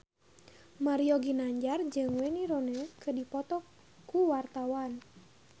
Mario Ginanjar jeung Wayne Rooney keur dipoto ku wartawan